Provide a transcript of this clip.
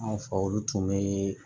An fɛ olu tun bɛ